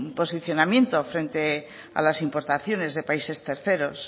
posicionamiento frente a las importaciones de países terceros